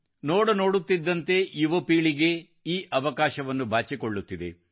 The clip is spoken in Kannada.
ನೋಡ ನೋಡುತ್ತಿದ್ದಂತೆ ಈ ಪೀಳಿಗೆ ಆ ಅವಕಾಶವನ್ನು ಬಾಚಿಕೊಳ್ಳುತ್ತಿದೆ